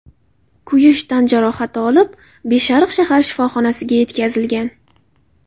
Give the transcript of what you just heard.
kuyish tan jarohati olib, Beshariq shahar shifoxonasiga yetkazilgan.